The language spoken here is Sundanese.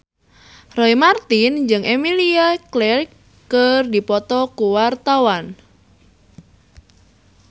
Roy Marten jeung Emilia Clarke keur dipoto ku wartawan